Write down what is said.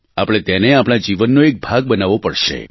આપણે તેને આપણા જીવનનો એક ભાગ બનાવવો પડશે